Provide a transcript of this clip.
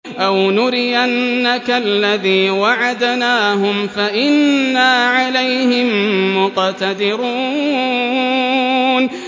أَوْ نُرِيَنَّكَ الَّذِي وَعَدْنَاهُمْ فَإِنَّا عَلَيْهِم مُّقْتَدِرُونَ